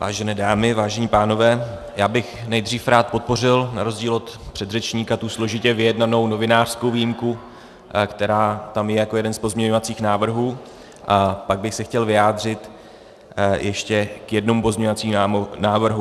Vážené dámy, vážení pánové, já bych nejdřív rád podpořil na rozdíl od předřečníka tu složitě vyjednanou novinářskou výjimku, která tam je jako jeden z pozměňovacích návrhů, a pak bych se chtěl vyjádřit ještě k jednomu pozměňovacímu návrhu.